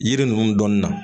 Yiri ninnu dɔnni na